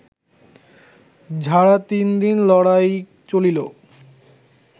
ঝাড়া তিনদিন লড়াই চলিল